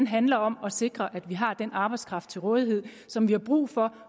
handler om at sikre at vi har den arbejdskraft til rådighed som vi har brug for